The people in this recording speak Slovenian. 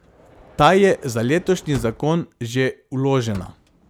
Ta je za letošnji zakon že vložena.